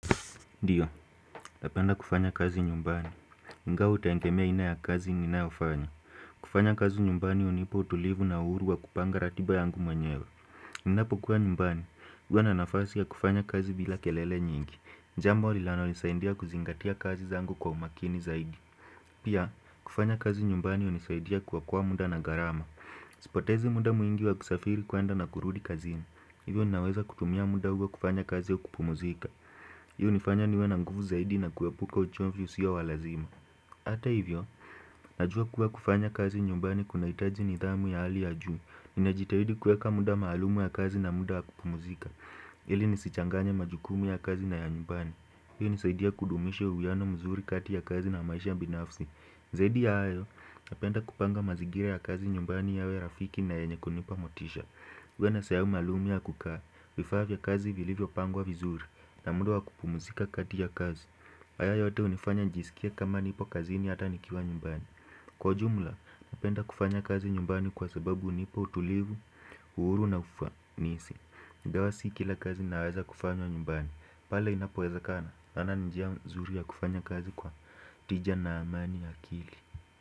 Ndiyo, napenda kufanya kazi nyumbani. Ingawa hutegemea haina ya kazi ninayofanya. Kufanya kazi nyumbani hunipa utulivu na uhuru wa kupanga ratiba yangu mwenyewe. Ninapo kuwa nyumbani, huwa na nafasi ya kufanya kazi bila kelele nyingi. Jambo linalonisaidia kuzingatia kazi zangu kwa umakini zaidi. Pia, kufanya kazi nyumbani hunisaidia kuokoa muda na gharama. Sipotezi muda mwingi wa kusafiri kwenda na kurudi kazini. Hivyo ninaweza kutumia muda huo kufanya kazi au kupumzika. Hiyo hunifanya niwe na nguvu zaidi na kuepuka uchovu husio wa lazima hata hivyo, najua kuwa kufanya kazi nyumbani kunahitaji nidhamu ya hali ya juu. Ninajitahidi kuweka muda maalum ya kazi na muda wa kupumzika Hili nisichanganye majukumu ya kazi na ya nyumbani. Hii hunisaidia kudumisha uwiano mzuri kati ya kazi na maisha binafsi Zaidi ya hayo, napenda kupanga mazingira ya kazi nyumbani yawe rafiki na yenye kunipa motisha. Uwe na sehemu maluum ya kukaa, vifaa vya kazi vilivyopangwa vizuri na muda wa kupumzika kati ya kazi haya yote hunifanya nijiskie kama nipo kazini hata nikiwa nyumbani. Kwa jumla, napenda kufanya kazi nyumbani kwa sababu hunipa utulivu, uhuru na ufanisi. Ingawa si kila kazi inaweza kufanya nyumbani, pale inapowezakana, naona ni njia nzuri ya kufanya kazi kwa tija na amani ya akili.